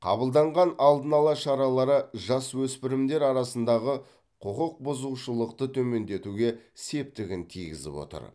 қабылданған алдын ала шаралары жасөспірімдер арасындағы құқық бұзушылықты төмендетуге септігін тигізіп отыр